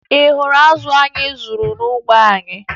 Ị hụrụ azụ anyị zụrụ n'ugbo anyị?